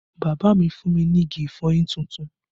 Bàbá mi fún mi ní igi ìfọyín tuntun